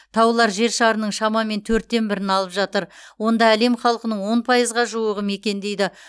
таулар жер шарының шамамен төрттен бірін алып жатыр онда әлем халқының он пайызға жуығы мекендейді